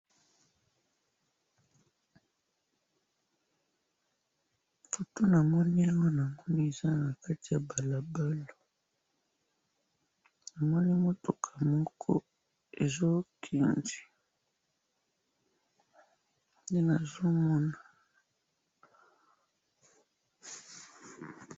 photo namoni awa namoni eza na kati ya balabala, namoni mutuka moko ezo kende, nde nazo mona